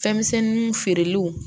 Fɛn misɛnninw feereliw